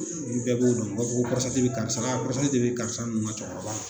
Ni bɛɛ b'o dɔn u b'a fɔ ko bɛ karisa la de bɛ karisaw ka cɛkɔrɔba la